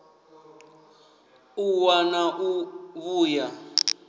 u ṱwa na u vhuya